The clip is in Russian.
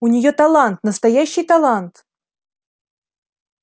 у неё талант настоящий талант